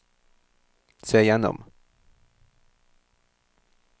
se gjennom